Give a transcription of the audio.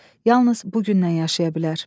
Yalnız bugündən yaşaya bilər.